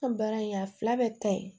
An baara in a fila bɛɛ ka ɲi